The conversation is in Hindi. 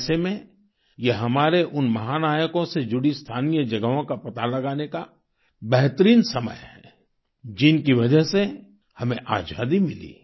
ऐसे में यह हमारे उन महानायकों से जुड़ी स्थानीय जगहों का पता लगाने का बेहतरीन समय है जिनकी वजह से हमें आजादी मिली